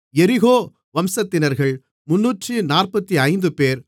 எரிகோ வம்சத்தினர்கள் 345 பேர்